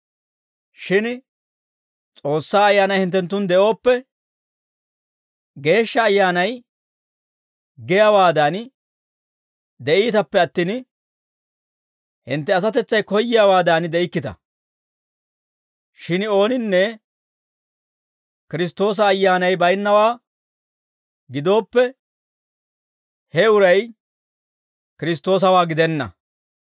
Shin S'oossaa Ayyaanay hinttenttun de'ooppe, Geeshsha Ayyaanay giyaawaadan de'iitappe attin, hintte asatetsay koyyiyaawaadan de'ikkita. Shin ooninne Kiristtoosa Ayyaanay baynnawaa gidooppe, he uray Kiristtoosawaa gidenna.